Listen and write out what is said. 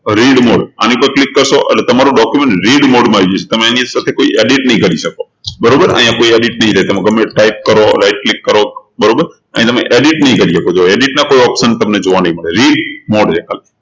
read mode આની ઉપર click કરશો એટલે તમારું documentread mode માં આવી જશે તમે કોઈ edit નહી કરી શકો બરોબર અહિયાં કોઈ edit નહી થાય તમે ગમે એ type કરો right click કરો બરોબર અહીં તમે edit નહી કરી શકો જુઓ edit ના કોઈ option તમને જોવા નહી મળે read mode ખાલી